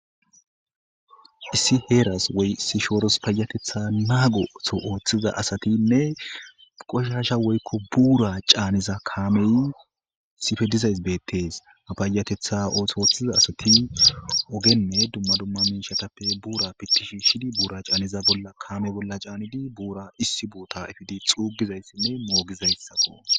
issi heeras woy issi shooros payatetha naagoto ooththiza asatinne qoshasha woykko buura caaniza kaamey sife dizays beettes a payatetha ootho ooththiza asati ogenne dumma dumma miishatappe buura pittishi shidi buura caaniza bolla kaame bolla caanidi buura issi buuta ifidi xuugizayssinne moogizayssako